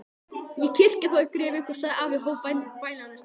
Ég kyrja þá yfir ykkur, sagði afi og hóf bænalesturinn.